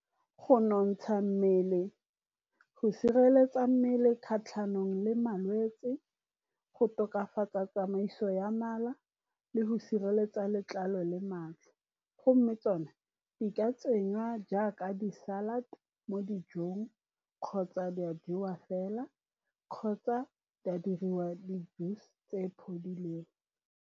Go nontsha mmele, go sireletsa mmele kgatlhanong le malwetsi, go tokafatsa tsamaiso ya mala, le go sireletsa letlalo le madi. Go mme tsone di ka tsenngwa jaaka di-salad mo dijong, kgotsa di a jewa fela, kgotsa di a diriwa di .